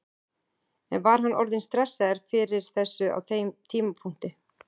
En var hann orðinn stressaður fyrir þessu á þeim tímapunkti?